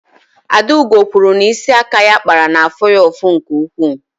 Adaugo kwuru na isi aka ọ kpara na-afụ ya ụfụ nke ukwuu.